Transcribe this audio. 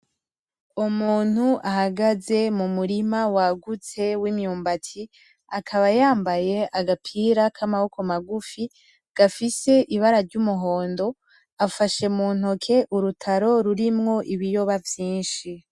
Umuntu ahagaze mu murima wagutse w'imyumbati, akaba yambaye agapira k'amaboko magufi gafise ibara ry'umuhondo. Afashe muntoke urutaro rurimwo ibiyoba vyinshi.